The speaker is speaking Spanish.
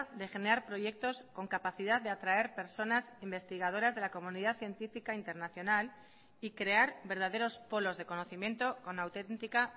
de generar proyectos con capacidad de atraer personas investigadoras de la comunidad científica internacional y crear verdaderos polos de conocimiento con autentica